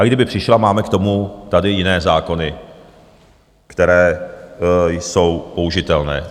A kdyby přišla, máme k tomu tady jiné zákony, které jsou použitelné.